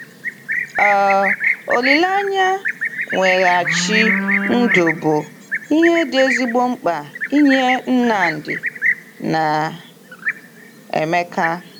um Olileanya mweghachi ndụ bụ ihe dị ezigbo mkpa nye Nnamdi na Emeka.